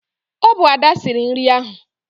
Ọ bụ Ada siri nri ahụ.